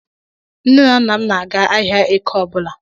Nnen na nna m na-aga ahịa Eke ọbụla